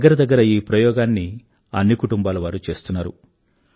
దగ్గరదగ్గర ఈ ప్రయోగాన్ని అన్ని కుటుంబాలవారూ చేస్తున్నారు